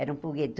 Era um pulgueto